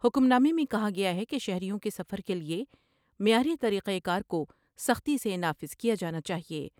حکمنامے میں کہا گیا ہے کہ شہریوں کے سفر کے لئے معیاری طریقہ کار کو سے نافذ کیا جانا چاہئے ۔